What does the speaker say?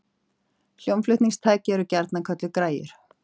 Hljómflutningstæki eru gjarnan kölluð græjur.